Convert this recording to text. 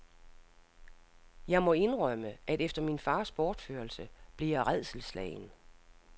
Jeg må indrømme, at efter min fars bortførelse blev jeg rædselsslagen.